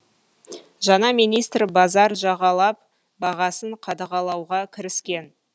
жаңа министр базар жағалап бағасын қадағалауға кіріскен